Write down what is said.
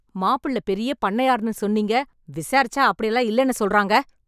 மாப்பிளை பெரிய பண்ணையார்ன்னுசொன்னீங்க, விசாரிச்சா அப்படி எல்லாம் இல்லைனு சொல்றாங்க.